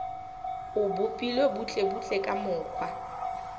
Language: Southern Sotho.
o bopilwe butlebutle ka mokgwa